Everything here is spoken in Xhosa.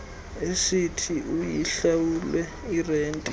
esithi uyihlawule irente